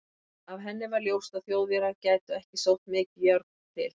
Af henni var ljóst, að Þjóðverjar gætu ekki sótt mikið járn til